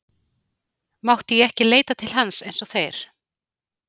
Mátti ég ekki leita til hans eins og þeir?